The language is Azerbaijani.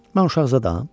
Mən uşaq zadam?